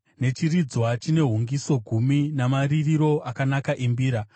nechiridzwa chine hungiso gumi namaririro akanaka embira.